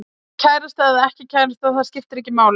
Kærasta eða ekki kærasta, það skiptir ekki máli.